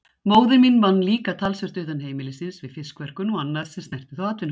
Móðir mín vann líka talsvert utan heimilisins við fiskverkun og annað sem snerti þá atvinnugrein.